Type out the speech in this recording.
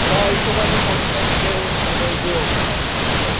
त्या हिशोबानी थोडस तिथे म्हणजे हे होत नाशिकला ना असं